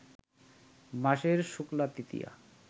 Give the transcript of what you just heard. মাসের শুক্লা তৃতীয়া